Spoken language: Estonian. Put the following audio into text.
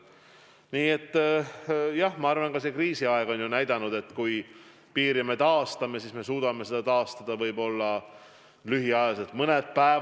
Nii et jah, ma arvan, et kriisiaeg on näidanud, et kui me piirikontrolli taastame, siis me suudame selle taastada võib-olla lühiajaliselt, mõneks päevaks.